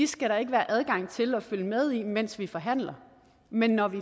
skal være adgang til at følge med i mens vi forhandler men når vi